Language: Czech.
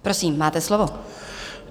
Prosím, máte slovo.